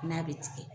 N'a bɛ tigɛ